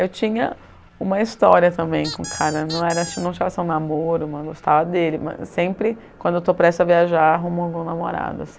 Eu tinha uma história também com o cara, não era tinha não tinha só um namoro, gostava dele, mas sempre quando eu estou prestes a viajar arrumo algum namorado.